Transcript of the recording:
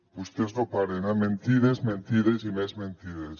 vostès no paren eh mentides mentides i més mentides